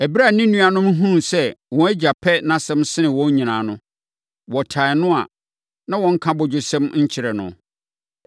Ɛberɛ a ne nuanom no hunuu sɛ wɔn agya pɛ nʼasɛm sene wɔn nyinaa no, wɔtan no a na wɔnka abodwosɛm nkyerɛ no.